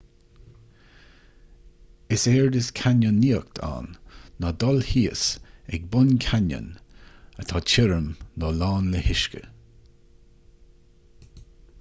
is éard is cainneonaíocht ann nó: canyoneering ná dul thíos ag bun cainneoin atá tirim nó lán le huisce